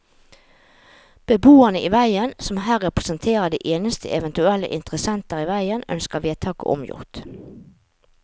Beboerne i veien, som her representerer de eneste eventuelle interessenter i veien, ønsker vedtaket omgjort.